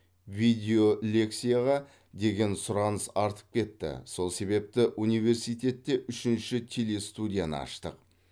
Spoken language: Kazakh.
видеолекцияға деген сұраныс артып кетті сол себепті университетте үшінші телестудияны аштық